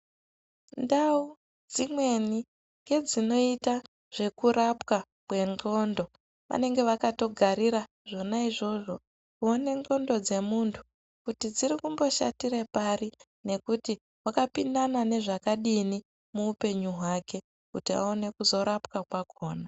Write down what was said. Ndau dzimweni dzinoitwa zvekurapwa kwengqondo, vanenge vakatogarira zvona izvozvo. Kuona ngqondo dzemuntu kuti dziri kumboshatira pari, nekuti wakapindana nezvakadini muupenyu hwake? Kuti aone kuzorapwa kwakhona.